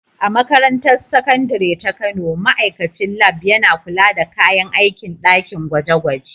A Makarantar Sakandare ta Kano, ma’aikacin Lab yana kula da kayan aikin ɗakin gwaje-gwaje.